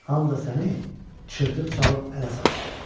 Hamı da səni çırpıq çalıb ələ salar.